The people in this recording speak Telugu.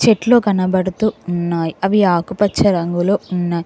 చెట్లు కనబడుతూ ఉన్నాయ్ అవి ఆకుపచ్చ రంగులో ఉన్నాయ్.